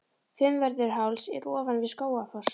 Fimmvörðuháls er ofan við Skógafoss.